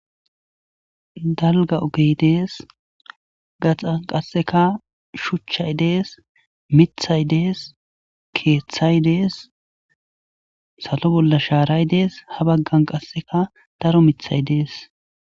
Dalga ogey dees gaxan qasseka shuchchay dees mithay dees keeththay dees salo bolla shaaray dees ha baggan qasseka daro mithay dees.